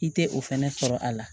I tɛ o fɛnɛ sɔrɔ a la